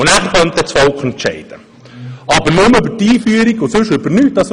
Anschliessend könnte dann das Volk entscheiden, aber nur über die Einführung und über nichts anderes.